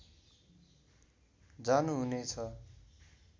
जानुहुने छ